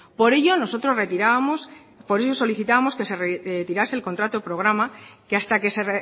por ello nosotros solicitábamos que se retirase el contrato programa que hasta que se